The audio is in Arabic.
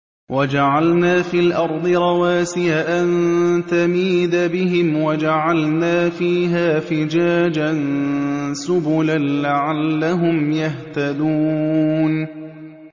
وَجَعَلْنَا فِي الْأَرْضِ رَوَاسِيَ أَن تَمِيدَ بِهِمْ وَجَعَلْنَا فِيهَا فِجَاجًا سُبُلًا لَّعَلَّهُمْ يَهْتَدُونَ